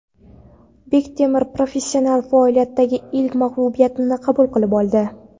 Bektemir professional faoliyatidagi ilk mag‘lubiyatini qabul qilib oldi.